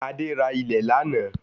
Adé ra ilẹ̀ lánàá